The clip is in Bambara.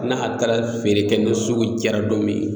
N'a taara feere kɛ ni sugu jara don min